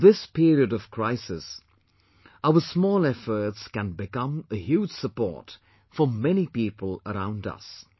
In this period of crisis, our small efforts can become a huge support for many people around us